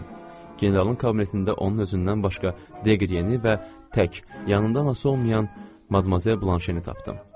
Generalın kabinetində onun özündən başqa Deqri yeniyi və tək yanında anası olmayan Madmazel Blanşeni tapdım.